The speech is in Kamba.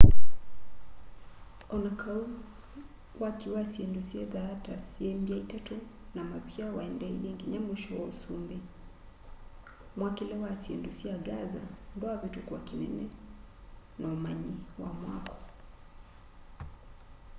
o na kau waki wa syindu sithyaa ta syi mby'a itatu na mavia waendeeie nginya mwisho wa usumbi mwakile wa syindu sya gaza ndwavitukwa ki unene na umanyi wa mwako